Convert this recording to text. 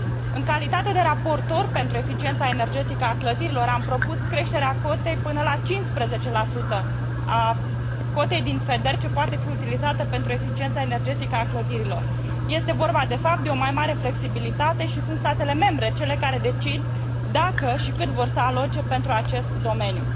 În calitate de raportor pentru eficiența energetică a clădirilor am propus creșterea cu până la 15 a cotei din FEDER ce poate fi utilizată pentru eficiența energetică a clădirilor. Este vorba, de fapt, de o mai mare flexibilitate și statele membre sunt cele care decid dacă și cât vor să aloce pentru acest domeniu.